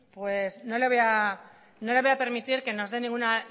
no le voy a permitir que nos dé ninguna